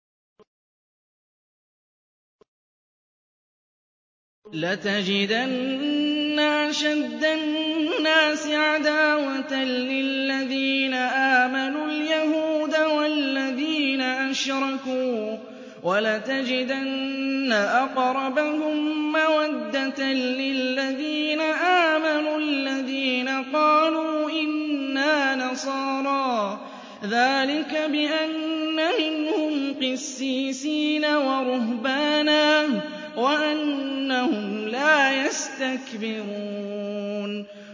۞ لَتَجِدَنَّ أَشَدَّ النَّاسِ عَدَاوَةً لِّلَّذِينَ آمَنُوا الْيَهُودَ وَالَّذِينَ أَشْرَكُوا ۖ وَلَتَجِدَنَّ أَقْرَبَهُم مَّوَدَّةً لِّلَّذِينَ آمَنُوا الَّذِينَ قَالُوا إِنَّا نَصَارَىٰ ۚ ذَٰلِكَ بِأَنَّ مِنْهُمْ قِسِّيسِينَ وَرُهْبَانًا وَأَنَّهُمْ لَا يَسْتَكْبِرُونَ